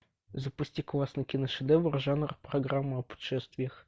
запусти классный киношедевр жанр программа о путешествиях